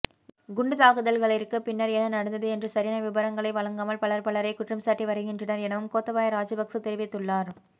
குண்டுதாக்குதல்களிற்கு பின்னர் என்ன நடந்தது என்ற சரியான விபரங்களை வழங்காமல் பலர் பலரை குற்றம்சாட்டிவருகின்றனர் எனவும் கோத்தபாய ராஜபக்ச தெரிவித்துள்ளார்